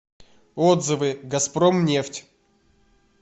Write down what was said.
отзывы газпромнефть